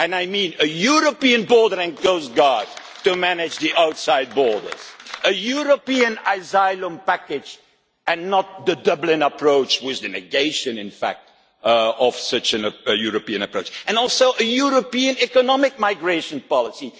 I mean a European Border and Coastguard to manage the outside borders, a European asylum package and not the Dublin approach, with the negation in fact of such a European approach, and also a European economic migration